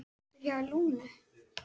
Aftur hjá Lúnu